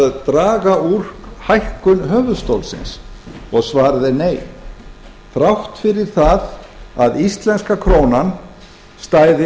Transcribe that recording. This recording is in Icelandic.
að draga úr hækkun höfuðstólsins svarið er nei þrátt fyrir það að íslenska krónan stæði